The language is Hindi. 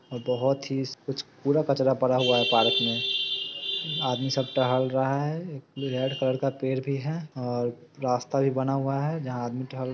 और बहुत ही कुछ कूरा कचरा पड़ा हुआ है पार्क मे आदमी सब टहल रहा है एक रेड कलर का पेड़ भी है और रास्ता भी बना हुआ है जहाँ आदमी टहल--